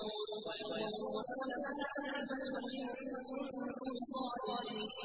وَيَقُولُونَ مَتَىٰ هَٰذَا الْفَتْحُ إِن كُنتُمْ صَادِقِينَ